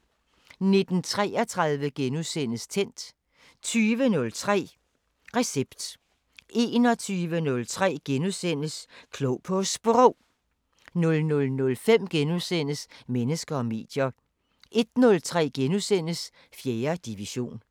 19:33: Tændt * 20:03: Recept * 21:03: Klog på Sprog * 00:05: Mennesker og medier * 01:03: 4. division *